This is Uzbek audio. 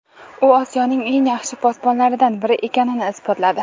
U Osiyoning eng yaxshi posbonlaridan biri ekanini isbotladi.